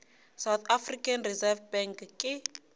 south african reserve bank ke